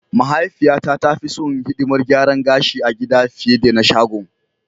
Mahaifiyata ta fi son hidimar garan gashi a gida fiye da na sagon.